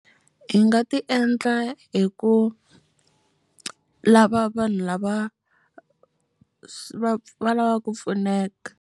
Hi nga ti endla hi ku lava vanhu lava va lava ku pfuneka.